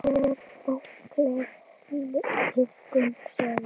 List er bókleg iðkun sögð.